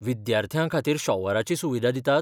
विद्यार्थ्यां खातीर शॉवराची सुविधा दितात?